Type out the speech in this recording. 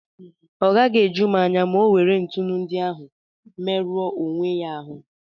Ọ gaghị eju m anya ma ọ nwere ntụnụ ndi ahụ merụọ onwe ya ahụ́.